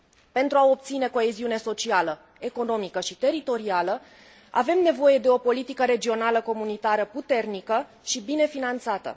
Pentru a obține coeziune socială, economică și teritorială, avem nevoie de o politică regională comunitară puternică și bine finanțată.